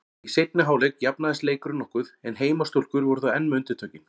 Í seinni hálfleik jafnaðist leikurinn nokkuð en heimastúlkur voru þó enn með undirtökin.